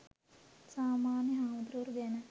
සාමාන්‍ය හාමුදුවරු ගැන